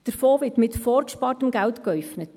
Der Fonds wird mit vorgespartem Geld geäufnet;